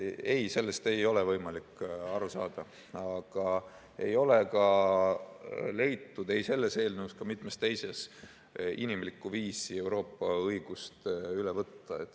" Ei, sellest ei ole võimalik aru saada, aga ei ole ka leitud, ei selles eelnõus ega mitmes teises, inimlikku viisi Euroopa õigust üle võtta.